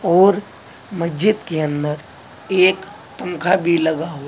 और मस्जिद के अंदर एक पंखा भी लगा हुआ--